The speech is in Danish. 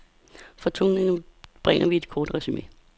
For tungnemme bringer vi et kort resume.